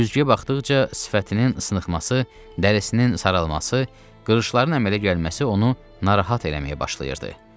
Güzgüyə baxdıqca sifətinin sınxması, dərisinin saralması, qırışların əmələ gəlməsi onu narahat eləməyə başladı.